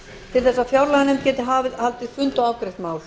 til að fjárlaganefnd geti haldið fund og afgreitt mál